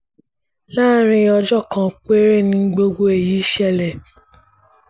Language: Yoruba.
láàrin ọjọ́ kan péré in gbogbo èyí ṣẹlẹ̀